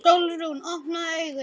Sólrún, opnaðu augun!